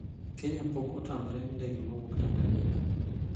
"Kenya pok otamre ndege mowuok Tanzania."